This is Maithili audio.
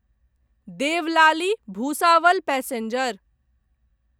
देवलाली भुसावल पैसेंजर